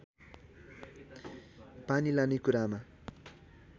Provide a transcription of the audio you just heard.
पानी लाने कुरामा